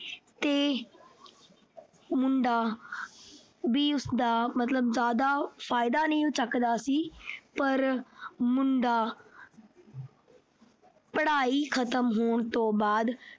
ਤੇ ਮੁੰਡਾ ਵੀ ਉਸਦਾ ਮਤਲਬ ਜਿਆਦਾ ਫਾਇਦਾ ਨਹੀਂ ਚੱਕਦਾ ਸੀ ਪਰ ਮੁੰਡਾ ਪੜ੍ਹਾਈ ਖਤਮ ਹੋਣ ਤੋਂ ਬਾਅਦ